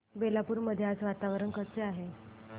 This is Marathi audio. बेलापुर मध्ये आज वातावरण कसे आहे